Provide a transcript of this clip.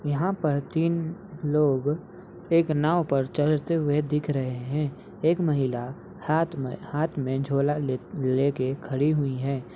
यहाँ पर तीन लोग एक नाव पर चढ़ते हुए दिख रहे हैं। एक महिला हाथ में हाथ में झोला लेके खड़ी हुयी है।